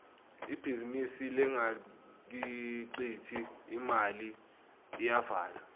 ibhizinisi lengakhiciti imali iyavalwa